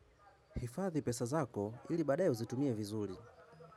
Hifadhi pesa zako ili baad ye uzitumie vizuri.